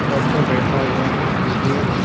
Doctor बैठा हुआ है छः।